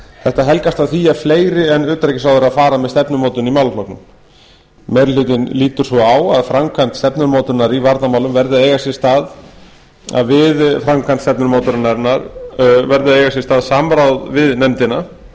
þetta helgast af því að fleiri en utanríkisráðherra fara með stefnumótun í málaflokknum meiri hlutinn lítur svo á að við framkvæmd stefnumótunar í varnarmálum verði að eiga sér stað samráð við nefndina samanber ákvæði tuttugasta og fjórðu